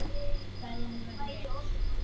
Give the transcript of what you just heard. Kveðjan verður eins.